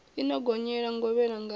i no gonyela ngovhela ngavhe